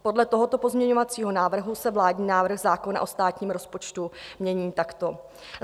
Podle tohoto pozměňovacího návrhu se vládní návrh zákona o státním rozpočtu mění takto: